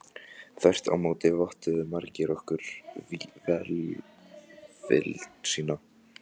Þvert á móti vottuðu margir okkur velvild sína.